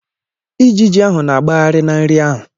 Ejiji ahụ na-agbagharị na nri ahụ.